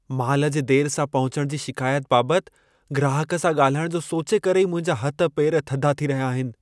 माल जे देर सां पहुचण जी शिकायत बाबतु ग्राहक सां ॻाल्हाइण जो सोचे करे ई मुंहिंजा हथ पेर थधा थी रहिया आहिनि।